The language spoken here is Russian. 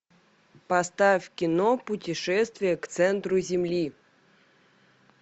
поставь кино путешествие к центру земли